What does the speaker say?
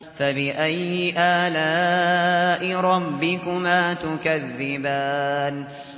فَبِأَيِّ آلَاءِ رَبِّكُمَا تُكَذِّبَانِ